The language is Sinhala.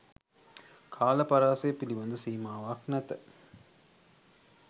කාල පරාසය පිළිබඳ සීමාවක් නැත